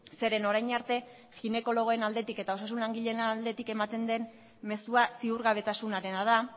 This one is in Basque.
zeren orain arte ginekologoen aldetik eta osasun langileen aldetik ematen den mezua ziurgabetasunarena da